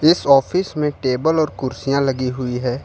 इस ऑफिस में टेबल और कुर्सियां लगी हुई है।